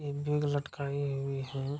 एक बैग लटकाई हुई है।